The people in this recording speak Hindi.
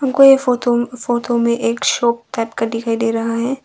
कोई फोटो फोटो में एक शॉप टाइप का दिखाई दे रहा है।